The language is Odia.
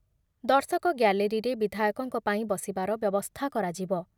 ଦର୍ଶକ ଗ୍ୟାଲେରୀରେ ବିଧାୟକଙ୍କ ପାଇଁ ବସିବାର ବ୍ୟବସ୍ଥା କରାଯିବ ।